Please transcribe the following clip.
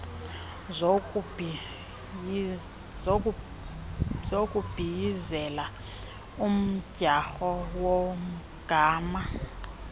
zokubhiyizela umdyarho womgama